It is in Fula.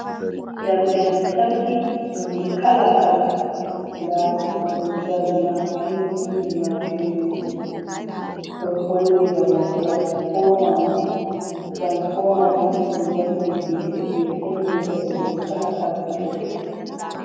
Jamɗe lamtarki nonnde kala -kala, ndɗaɗe ɗo ɗon dari maapindiiji -maapindiji, ɗo holli bana transfomani, ɗum njamɗe hiite jey senndinta hiite kala fattude fuh.